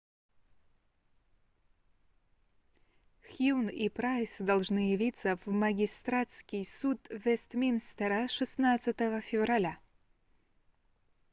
хьюн и прайс должны явиться в магистратский суд вестминстера 16 февраля